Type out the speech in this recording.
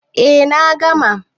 Eh na gama.